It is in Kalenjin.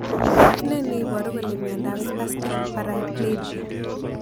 Ne neiparu kole miandop Spastic paraplegia